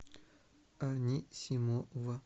анисимова